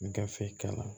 Gafe kalan